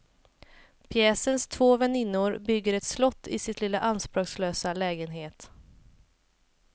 Pjäsens två väninnor bygger ett slott i sin lilla anspråkslösa lägenhet.